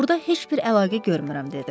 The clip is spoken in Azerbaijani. Burda heç bir əlaqə görmürəm, dedi.